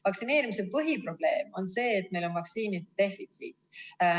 Vaktsineerimise põhiprobleem on see, et meil on vaktsiinide defitsiit.